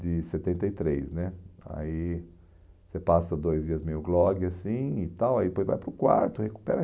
de setenta e três né. Aí você passa dois dias meio grogue assim e tal, aí depois vai para o quarto e recupera.